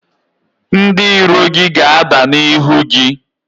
Ndị iro gị ga-ada n’ihu gị